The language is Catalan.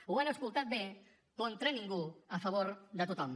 ho han escoltat bé contra ningú a favor de tothom